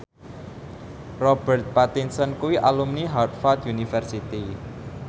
Robert Pattinson kuwi alumni Harvard university